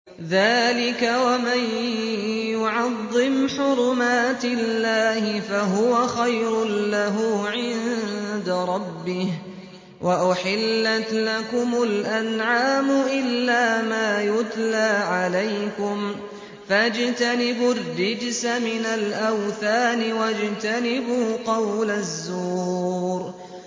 ذَٰلِكَ وَمَن يُعَظِّمْ حُرُمَاتِ اللَّهِ فَهُوَ خَيْرٌ لَّهُ عِندَ رَبِّهِ ۗ وَأُحِلَّتْ لَكُمُ الْأَنْعَامُ إِلَّا مَا يُتْلَىٰ عَلَيْكُمْ ۖ فَاجْتَنِبُوا الرِّجْسَ مِنَ الْأَوْثَانِ وَاجْتَنِبُوا قَوْلَ الزُّورِ